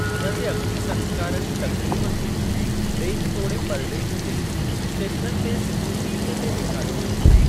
हुन जे अग्नि संस्कार जी तक़रीब खे ॾेह तोड़े परॾेह जे स्‍टेशननि ते सिधो टीवीअ ते ॾेखारियो वियो हो।